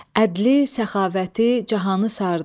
Ədli, səxavəti cahanı sardı.